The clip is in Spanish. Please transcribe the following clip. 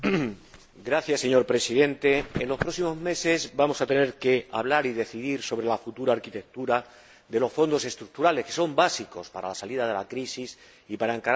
Señor Presidente, en los próximos meses vamos a tener que hablar y decidir sobre la futura arquitectura de los Fondos Estructurales, que son básicos para la salida de la crisis y para encarar la Estrategia